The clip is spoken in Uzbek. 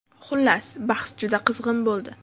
Xullas, bahs juda qizg‘in bo‘ldi.